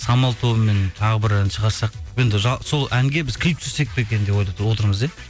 самал тобымен тағы бір ән шығарсақ енді сол әнге біз клип түсірсек пе екен деп отырмыз иә